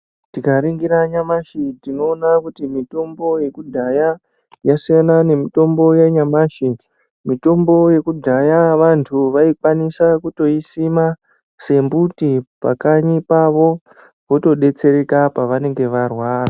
Tikaringira nyamashi tinoona kuti mitombo yekudhaya yasiyana nemitombo yanyamashi, mitombo yekudhaya vanhu vaikwanisa kutoisima sembuti pakanyi pavo votodetsereka pavanenge varwara.